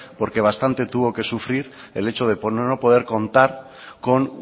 porque bastante tuvo que sufrir el hecho de poder o no poder contar con